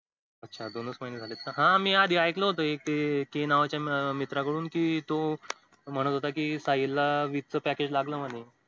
अच्छा दोनच महिने झालेत का? हा मी आधी ऐकलं होत कि एक नावाच्या मित्राकडून कि म्हणत होता हि साहिल ला वीस च package लागलं म्हणे.